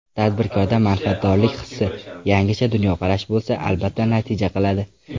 Tadbirkorda manfaatdorlik hissi, yangicha dunyoqarash bo‘lsa, albatta natija qiladi.